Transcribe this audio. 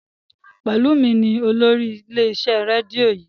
Pelumi ní olórí ilé iṣẹ rédíò yii.